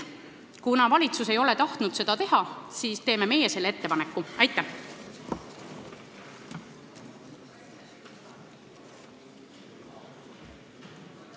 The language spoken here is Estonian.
Kuna valitsus ei ole tahtnud seda teha, siis teeme meie ettepaneku olukorda muuta.